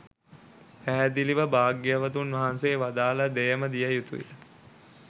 පැහැදිලිව භාග්‍යවතුන් වහන්සේ වදාළ දෙයම දිය යුතුයි.